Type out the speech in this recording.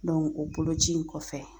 o boloci in kɔfɛ